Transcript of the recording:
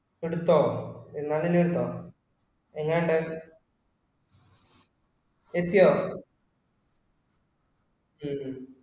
എടുത്തോ? മുന്നാലെണ്ണം എടുത്തോ? എങ്ങനുണ്ട്? എത്തിയോ? ഉം ഉം